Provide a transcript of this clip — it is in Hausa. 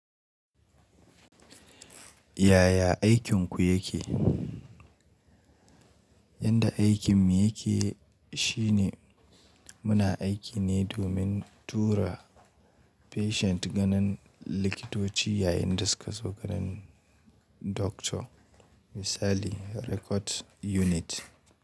Yaya aikin ku yake? Yanda aikin mu yake shine muna aiki ne domin tura patient ganin likitoci yayin da suka zo ganin Doctor misali record unit.